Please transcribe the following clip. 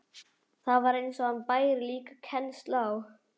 Það var eins og hann bæri líka kennsl á.